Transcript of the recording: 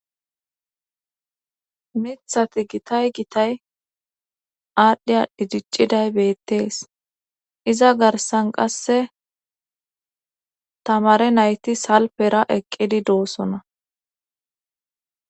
mithati gitay gitay aadhdhiy didicciday beettees iza garsan qasse tamare nayti salpera eqqidi doosona